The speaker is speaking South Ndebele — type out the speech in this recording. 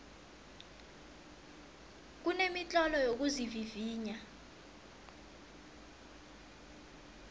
kunemitlolo yokuzivivinya